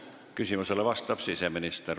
Küsimusele vastab siseminister.